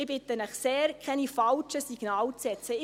Ich bitte Sie sehr, keine falschen Signale zu setzen.